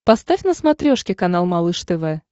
поставь на смотрешке канал малыш тв